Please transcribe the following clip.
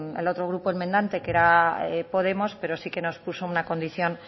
el otro grupo enmendante que era podemos pero sí que nos puso una condición